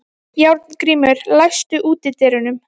Járngrímur, læstu útidyrunum.